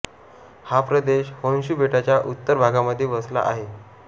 हा प्रदेश होन्शू बेटाच्या उत्तर भागामध्ये वसला आहे